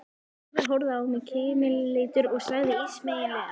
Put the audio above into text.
Kristófer horfði á mig kímileitur og sagði ísmeygilega